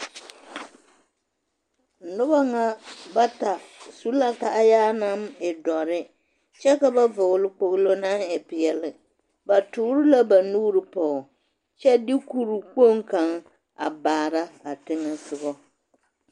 Noba ŋa bata su la kaayaa naŋ e dɔre kyɛ ka ba vɔgele kpogilo naŋ e peɛle ba toore la ba nuuri pɔge kyɛ de kuri kpoŋ kaŋ a baara a teŋɛsogɔ.